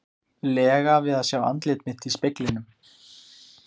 lega við að sjá andlit mitt í speglinum.